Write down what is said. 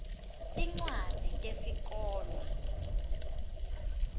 tincwadzi tesikolwa